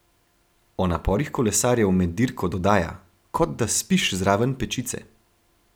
O naporih kolesarjev med dirko dodaja: "Kot da spiš zraven pečice.